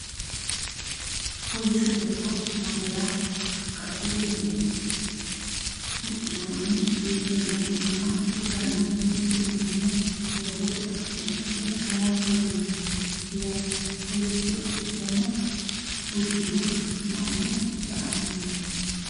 kolishsho doogo nootera qaccete hige huxxinoonni huxxi leelanni nooha ikkanna, mittu manchino doogote qaccee hige haranni leelanno yaate kolishsho uddano uddire.